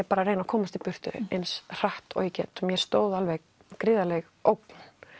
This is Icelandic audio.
bara reyni að komast í burtu eins hratt og ég get mér stóð alveg gríðarleg ógn